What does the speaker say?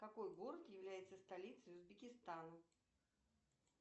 какой город является столицей узбекистана